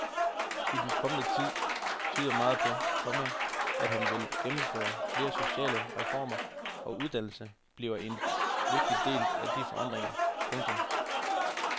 I den kommende tid tyder meget på, komma at han vil gennemføre flere sociale reformer og at uddannelse bliver en vigtig del af de forandringer. punktum